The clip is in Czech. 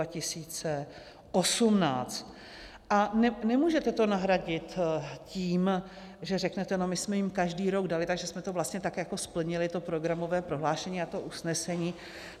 A nemůžete to nahradit tím, že řeknete no, my jsme jim každý rok dali, takže jsme to vlastně tak jako splnili, to programové prohlášení a to usnesení.